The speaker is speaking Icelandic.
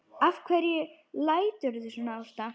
Af hverju læturðu svona Ásta?